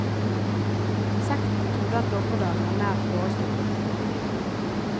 Sekten trodde at dommedag var nær forestående.